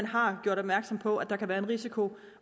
har gjort opmærksom på at der kunne være en risiko